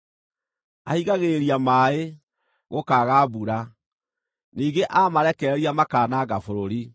Ahingagĩrĩria maaĩ, gũkaaga mbura; ningĩ aamarekereria makaananga bũrũri.